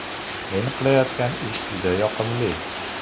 Men qilayotgan ish juda yoqimli.